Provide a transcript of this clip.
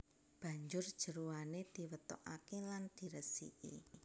Banjur jeroane diwetokaké lan diresiki